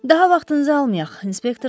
Daha vaxtınızı almayıaq, inspektor dedi.